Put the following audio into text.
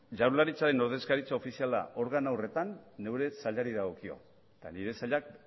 jaurlaritzaren ordezkaritza ofiziala organo horretan neure sailari dagokio eta nire sailak